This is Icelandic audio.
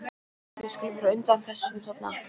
Við skulum vera á undan þessum þarna.